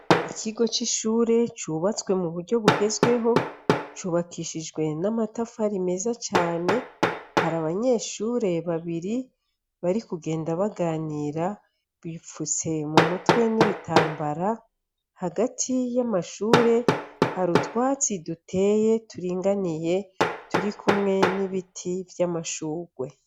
Ikigo c'ishure cubatswe mu buryo bugezweho cubakishijwe n'amatafari meza cane. Hari abanyeshure babiri bari kugenda baganira, bipfutse mu mutwe n'ibitambara. Hagati y'amashure, hari utwatsi duteye turinganiye turi kumwe n'ibiti vy'amashurwe.